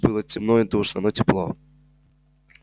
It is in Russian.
тут было темно и душно но тепло